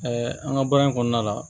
an ka baara in kɔnɔna la